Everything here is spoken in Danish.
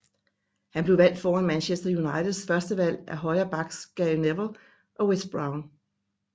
Han blev valgt foran Manchester Uniteds førstevalg af højre backs Gary Neville og Wes Brown